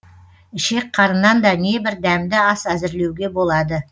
ішек қарыннан да небір дәмді ас әзірлеуге болады